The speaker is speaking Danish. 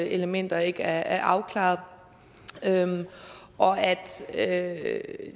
elementer ikke er afklaret og at